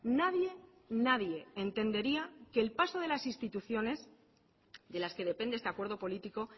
nadie nadie entendería que el paso de las instituciones de las que depende este acuerdo político